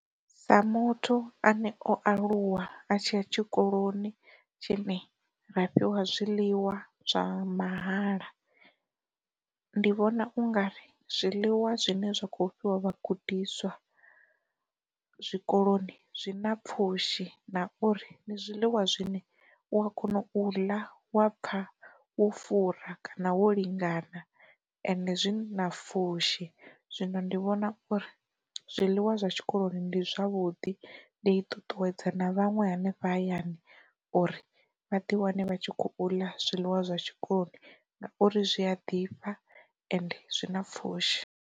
Sa muthu ane o aluwa a tshiya tshikoloni tshine ra fhiwa zwiḽiwa zwa mahala, ndi vhona ungari zwiḽiwa zwine zwa kho fhiwa vha gudiswa zwikoloni zwi na pfhushi na uri ndi zwiḽiwa zwine u a kona u ḽa wa pfa wo fura kana wo lingana ende zwi na pfushi, zwino ndi vhona uri zwiḽiwa zwa tshikoloni ndi zwavhuḓi ndi ṱuṱuwedza na vhaṅwe hanefha hayani uri vha ḓi wane vha tshi kho u ḽa zwiḽiwa zwa tshikoloni ngauri zwi a ḓifha ende zwi na pfushi.